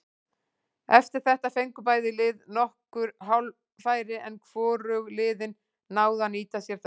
Eftir þetta fengu bæði lið nokkur hálffæri en hvorug liðin náðu að nýta sér þau.